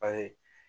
A ye